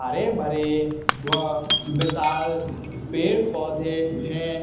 हरे भरे व विशाल पेड़ पौधे हैं।